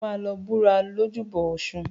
O máa lọ búra lójúbọ ọ̀ṣun.